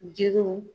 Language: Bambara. Jiriw